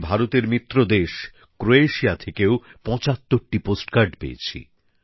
আমি ভারতের মিত্রদেশ ক্রোয়েশিয়া থেকেও ৭৫টি পোস্টকার্ড পেয়েছি